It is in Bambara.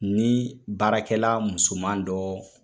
Ni baarakɛla musoman dɔ